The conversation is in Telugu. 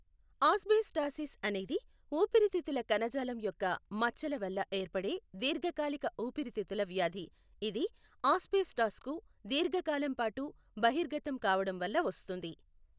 ఆస్బెస్టాసిస్ అనేది ఊపిరితిత్తుల కణజాలం యొక్క మచ్చల వల్ల ఏర్పడే దీర్ఘకాలిక ఊపిరితిత్తుల వ్యాధి, ఇది ఆస్బెస్టాస్కు దీర్ఘ కాలం పాటు బహిర్గతం కావడం వల్ల వస్తుంది.